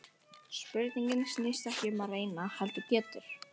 Spurningin snýst ekki um að reyna heldur gera!